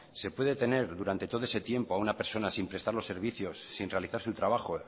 se puede tener durante todo ese tiempo a una persona sin prestar los servicios sin realizar su trabajo